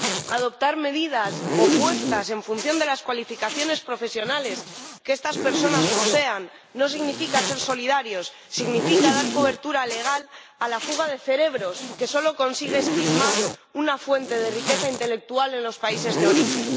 Adoptar medidas opuestas en función de las cualificaciones profesionales que estas personas posean no significa ser solidarios, significa dar cobertura legal a la fuga de cerebros, que solo consigue esquilmar una fuente de riqueza intelectual en los países de origen.